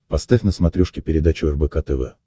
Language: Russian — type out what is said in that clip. поставь на смотрешке передачу рбк тв